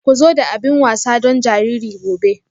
Ku zo da abin wasa don jariri gobe.